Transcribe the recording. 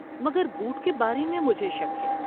مگر بوٹ کے بارے میں مجھے شک ہے۔